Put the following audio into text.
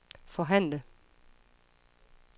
forhandle